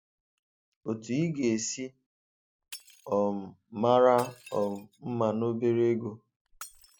Otu ị ga-esi um mara um mma na obere ego